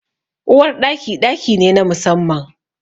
Uwar Ɗaki, ɗaki ne na musamman.